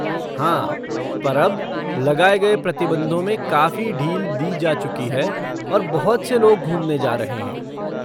हाँ, पर अब लगाए गए प्रतिबंधों में काफ़ी ढील दी जा चुकी है और बहुत से लोग घूमने जा रहे हैं।